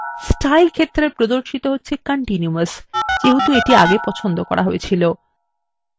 style ক্ষেত্রে প্রদর্শিত হচ্ছে continuous যেহেতু the পছন্দ ছিল